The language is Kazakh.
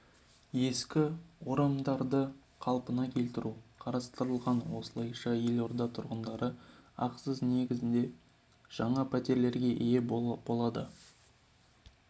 ескі орамдарды қалпына келтіру қарастырылған осылайша елорда тұрғындары ақысыз негізде жаңа пәтерлерге ие болады қала